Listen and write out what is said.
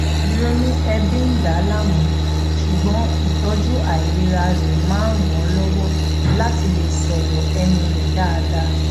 ìrònú ẹbi ń dà á láàmú ṣùgbón ìtọjú àìlera rẹ máa ń ràn lọwọ láti lè sọrọ ẹnu rẹ dáadáa